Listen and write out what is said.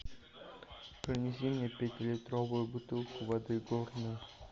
принеси мне пятилитровую бутылку воды горная